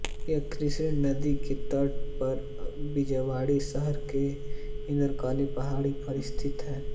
यह कृष्णा नदी के तट पर विजयवाड़ा शहर के इंद्रकीलाद्रि पहाड़ी पर स्थित है